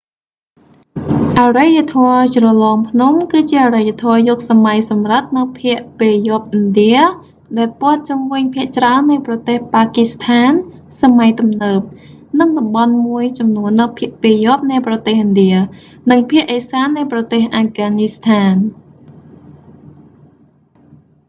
អរិយធម៌ជ្រលងភ្នំ គឺជាអរិយធម៌យុគសម័យសំរឹទ្ធនៅភាគពាយព្យឥណ្ឌាដែលព័ទ្ធជុំវិញភាគច្រើននៃប្រទេសប៉ាគីស្ថានសម័យទំនើប និងតំបន់មួយចំនួននៅភាគពាយព្យនៃប្រទេសឥណ្ឌា និងភាគឥសាននៃប្រទេសអាហ្វហ្គានីស្ថាន